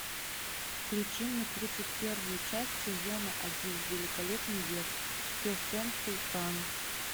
включи мне тридцать первую часть сезона один великолепный век кесем султан